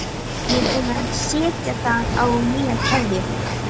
Ég er búin að setja á það nýja keðju